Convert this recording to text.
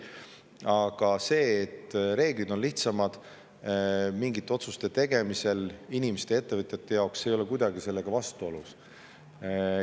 Aga see, et reeglid on mingite otsuste tegemisel inimeste ja ettevõtjate jaoks lihtsamad, ei ole kuidagi sellega vastuolus.